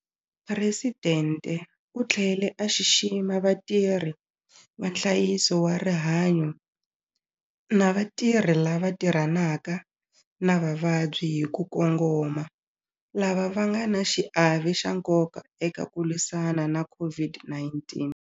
Presidente u tlhele a xixima vatirhi va nhlayiso wa rihanyo na vatirhi lava tirhanaka na vavabyi hi ku kongoma lava va nga na xiave xa nkoka eka ku lwisana na COVID-19.